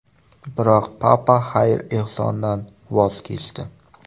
Biroq Papa xayr-ehsondan voz kechdi.